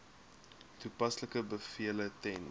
toepaslike bevele ten